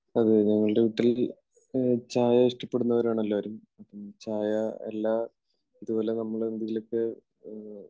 അതെ ഞങ്ങളുടെ വീട്ടിൽ ചായ ഇഷ്ടപ്പെടുന്നവരാണ് എല്ലാവരും. ചായ എല്ലാ, അതുപോലെ നമ്മൾ എന്തെങ്കിലുമൊക്കെ